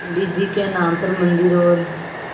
पंडित जी के नाम पर मन्दिर और